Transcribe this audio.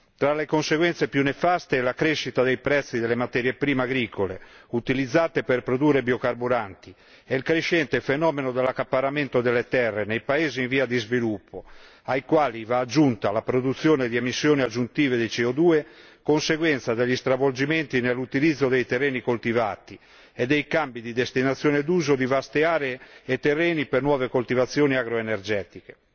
Tra le conseguenze più nefaste vi è la crescita dei prezzi delle materie prime agricole utilizzate per produrre biocarburanti e il crescente fenomeno dell'accaparramento delle terre nei paesi in via di sviluppo. A queste va aggiunta la produzione di emissioni aggiuntive di CO 2 conseguenza degli stravolgimenti nell'utilizzo dei terreni coltivati e dei cambi di destinazione d'uso di vaste aree e terreni per nuove coltivazioni agroenergetiche.